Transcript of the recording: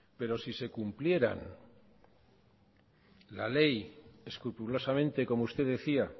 pero si se cumplieran la ley escrupulosamente como usted decía